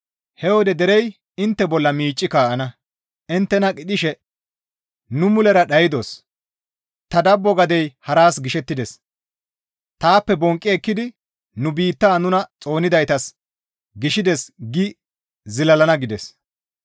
He wode derey intte bolla miicci kaa7ana; inttena qidhishe, « ‹Nu mulera dhaydos; ta dabbo gadey haras gishettides; taappe bonqqi ekkidi nu biitta nuna Xoonidaytas gishides› gi zilalana» gides.